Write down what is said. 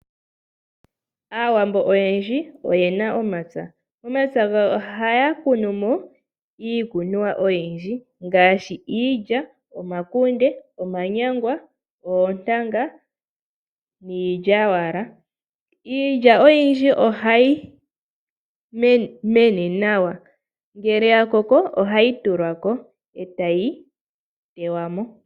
Aawambo oyendji oye na omampya, omapya gawo oha yakunumo iikuniwa oyindji, ngaashi iilya, omakunde, omanyangwa, oontanga, niilya wala. Iilya oyindji oha yi mene nawa, ngele yakoko oha yitulako eta yiteywamo.